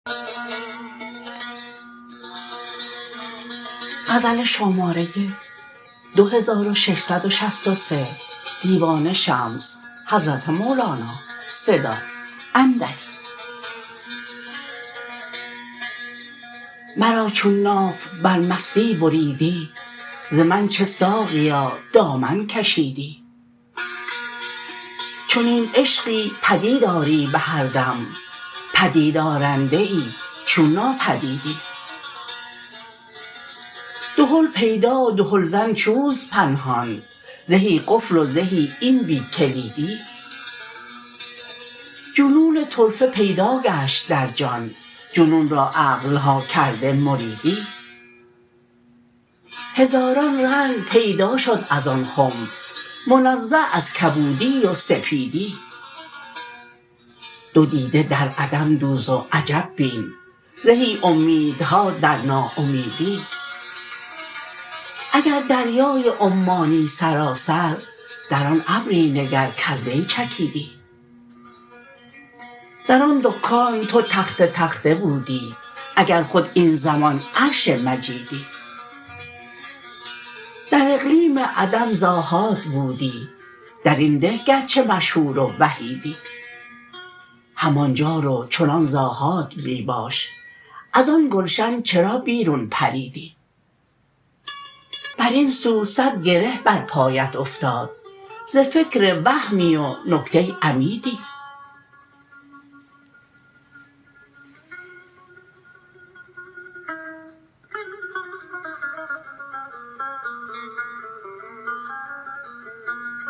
مرا چون ناف بر مستی بریدی ز من چه ساقیا دامن کشیدی چنین عشقی پدید آری به هر دم پدیدآرنده چون ناپدیدی دهل پیدا دهلزن چون است پنهان زهی قفل و زهی این بی کلیدی جنون طرفه پیدا گشت در جان جنون را عقل ها کرده مریدی هزاران رنگ پیدا شد از آن خم منزه از کبودی و سپیدی دو دیده در عدم دوز و عجب بین زهی اومیدها در ناامیدی اگر دریای عمانی سراسر در آن ابری نگر کز وی چکیدی در آن دکان تو تخته تخته بودی اگر خود این زمان عرش مجیدی در اقلیم عدم ز آحاد بودی در این ده گرچه مشهور و وحیدی همان جا رو چنان ز آحاد می باش از آن گلشن چرا بیرون پریدی بر این سو صد گره بر پایت افتاد ز فکر وهمی و نکته عمیدی